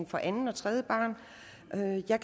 for anden og tredje barn men jeg